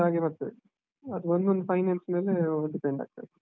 ಹಾಗೆ ಬರ್ತದೆ, ಅದು ಒಂದ್ ಒಂದ್ finance ಮೇಲೆ depend ಆಗ್ತದೆ.